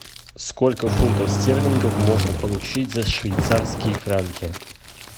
сколько фунтов стерлингов можно получить за швейцарские франки